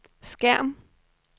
skærm